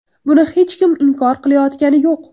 Buni hech kim inkor qilayotgani yo‘q.